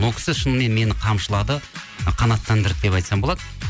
ол кісі шынымен мені қамшылады ы қанаттандырды деп айтсам болады